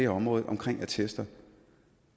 området omkring attester